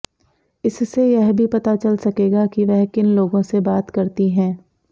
इससे यह भी पता चल सकेगा कि वह किन लोगों से बात करती हैं